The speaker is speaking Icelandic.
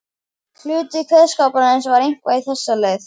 Hluti kveðskaparins var eitthvað á þessa leið